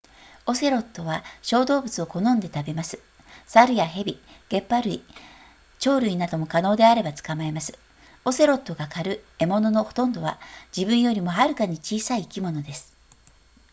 オセロットは小動物を好んで食べます猿や蛇げっ歯類鳥類なども可能であれば捕まえますオセロットが狩る獲物のほとんどは自分よりもはるかに小さい生き物です